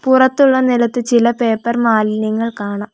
പുറത്തുള്ള നിലത്ത് ചില പേപ്പർ മാലിന്യങ്ങൾ കാണാം.